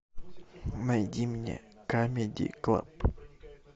найди мне камеди клаб